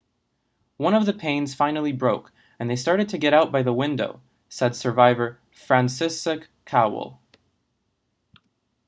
one of the panes finally broke and they started to get out by the window said survivor franciszek kowal